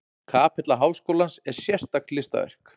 Kapella háskólans er sérstakt listaverk.